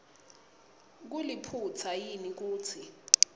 kuliphutsa yini kutsi